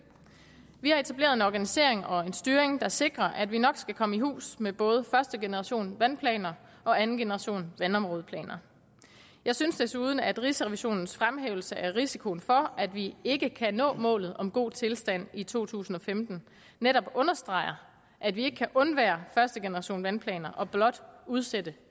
vi har etableret en organisering og en styring der sikrer at vi nok skal komme i hus med både første generation vandplaner og anden generation vandområdeplaner jeg synes desuden at rigsrevisionens fremhævelse af risikoen for at vi ikke kan nå målet om god tilstand i to tusind og femten netop understreger at vi ikke kan undvære første generation af vandplaner og blot udsætte